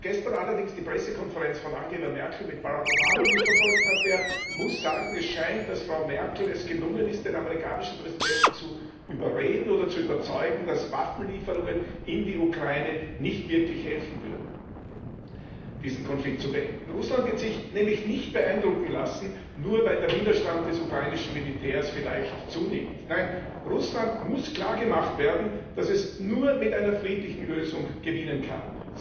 Wer gestern allerdings die Pressekonferenz von Angela Merkel mit Barack Obama mitverfolgt hat, der muss sagen, dass es Frau Merkel anscheinend gelungen ist, den amerikanischen Präsidenten zu überreden oder zu überzeugen, dass Waffenlieferungen in die Ukraine nicht wirklich helfen würden, diesen Konflikt zu beenden. Russland wird sich nämlich nicht beeindrucken lassen, nur weil der Widerstand des ukrainischen Militärs vielleicht zunimmt. Nein, Russland muss klar gemacht werden, dass es nur mit einer friedlichen Lösung gewinnen kann.